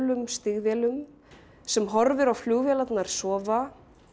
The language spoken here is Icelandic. stígvélum sem horfir á flugvélarnar sofa